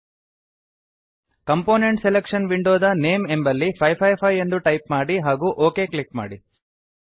component selection window ದ name ಎಂಬಲ್ಲಿ 555 ಎಂದು ಟೈಪ್ ಮಾಡಿ ಹಾಗೂ ಒಕ್ ಕ್ಲಿಕ್ ಮಾಡಿ